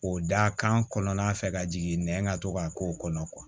O da kan kɔnɔna fɛ ka jigin nɛn ka to ka k'o kɔnɔ